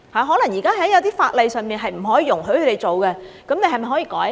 可能現時一些法例是不可以容許他們做的，那麼政府是否可以改例呢？